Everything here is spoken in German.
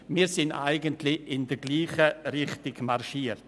Wir sind in dieselbe Richtung marschiert.